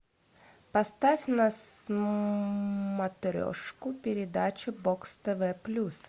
поставь на смотрешку передачу бокс тв плюс